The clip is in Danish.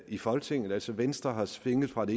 i folketinget altså venstre er svinget fra ét